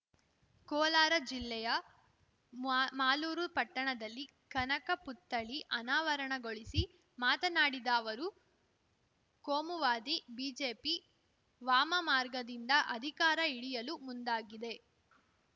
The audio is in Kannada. ಕೋಲಾರ ಜಿಲ್ಲೆಯ ಮಾವ್ ಮಾಲೂರು ಪಟ್ಟಣದಲ್ಲಿ ಕನಕ ಪುತ್ಥಳಿ ಅನಾವರಣಗೊಳಿಸಿ ಮಾತನಾಡಿದ ಅವರು ಕೋಮುವಾದಿ ಬಿಜೆಪಿ ವಾಮಮಾರ್ಗದಿಂದ ಅಧಿಕಾರ ಹಿಡಿಯಲು ಮುಂದಾಗಿದೆ